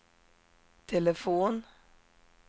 telefon